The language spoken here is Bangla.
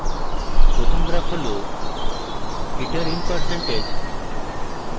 প্রথম graph হল heater in percentage